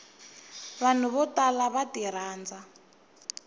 vanhu vo tala va tirhandza